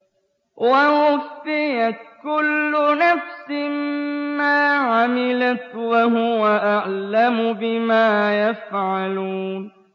وَوُفِّيَتْ كُلُّ نَفْسٍ مَّا عَمِلَتْ وَهُوَ أَعْلَمُ بِمَا يَفْعَلُونَ